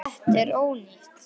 Þetta er ónýtt.